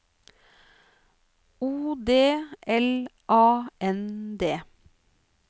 O D L A N D